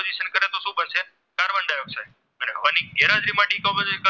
અને હવાની ગેરહાજરીમાં